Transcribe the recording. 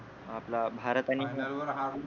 आपला भारत आणि